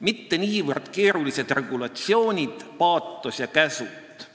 mitte niivõrd keerulised regulatsioonid, paatos ja käsud.